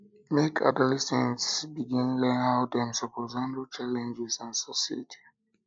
make adolescents begin learn how dem suppose handle challenges and succeed